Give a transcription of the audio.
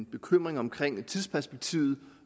bekymringer omkring tidsperspektivet